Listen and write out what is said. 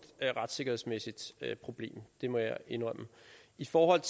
retssikkerhedsmæssigt problem det må jeg indrømme i forhold